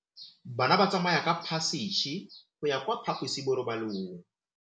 Bana ba tsamaya ka phašitshe go ya kwa phaposiborobalong.